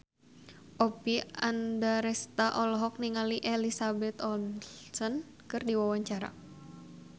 Oppie Andaresta olohok ningali Elizabeth Olsen keur diwawancara